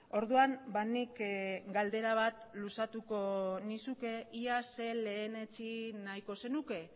orduan nik galdera bat luzatuko nizuke iaz lehenetsi nahiko zenuke